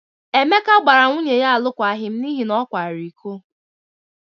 Emeka gbara nwunye ya alụkwaghịm n'ihi na ọ kwara iko.